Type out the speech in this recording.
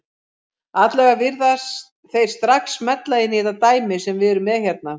Allavega virðast þeir strax smella inn í þetta dæmi sem við erum með hérna.